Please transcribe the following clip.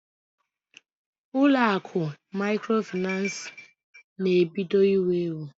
Ụlọ akụ maịkrofaịnans na-ebido iwu ewu.